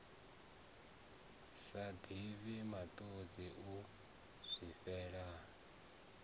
sa divhi matodzi u zwifhela